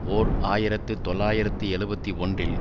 ஓர் ஆயிரத்து தொள்ளாயிரத்து எழுபத்தி ஒன்றில்